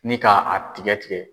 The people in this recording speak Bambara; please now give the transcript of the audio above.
Ni ka a tigɛ tigɛ.